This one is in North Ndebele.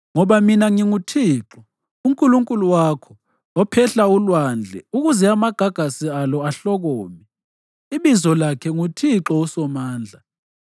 Ngoba mina nginguThixo uNkulunkulu wakho, ophehla ulwandle ukuze amagagasi alo ahlokome, ibizo lakhe nguThixo uSomandla.